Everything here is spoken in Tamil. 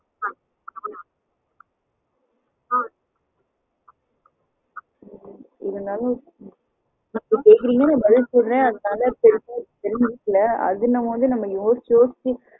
இருந்தாலும் நா பதில் சொல்றேன் அதுக்கு தவுந்த மாதிரி